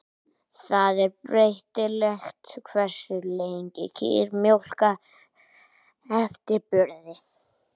Það er breytilegt hversu lengi kýr mjólka eftir burð.